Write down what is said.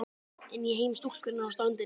Inn í heim stúlkunnar á ströndinni.